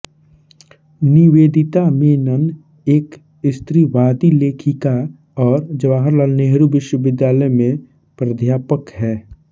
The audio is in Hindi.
निवेदिता मेनन एक स्त्रीवादी लेखिका और जवाहरलाल नेहरू विश्वविद्यालय में प्राध्यापक हैं